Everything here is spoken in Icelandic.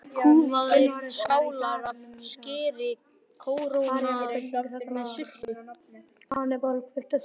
Fjórar kúfaðar skálar af skyri kórónaðar með sultu.